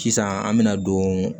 Sisan an bɛna don